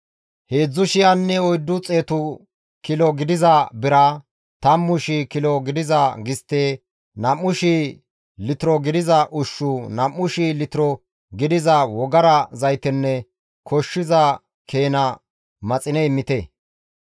Heedzdzu shiyanne oyddu xeetu kilo gidiza bira, tammu shii kilo gidiza gistte, nam7u shii litiro gidiza ushshu, nam7u shii litiro gidiza wogara zaytenne koshshiza keena maxine immite.